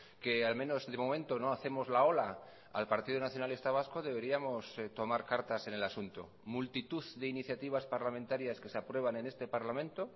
que al menos de momento no hacemos la ola al partido nacionalista vasco deberíamos tomar cartas en el asunto multitud de iniciativas parlamentarias que se aprueban en este parlamento